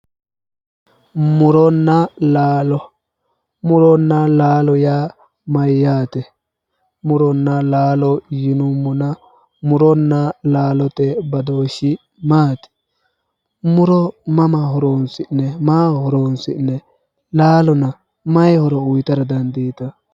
Muronna laalo, muronna laalo yaa mayate, muronna laalo yinnuummonna muronna laalo badooshshi maati, muro mama horonsi'neemmo ,maaho horonsi'neemmo, laalonna mayi horo uyittara dandiittano.